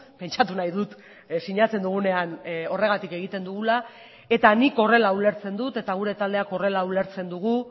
pentsatu nahi dut sinatzen dugunean horregatik egiten dugula eta nik horrela ulertzen dut eta gure taldeak horrela ulertzen dugu